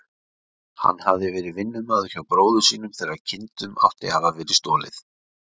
Hann hafði verið vinnumaður hjá bróður sínum þegar kindunum átti að hafa verið stolið.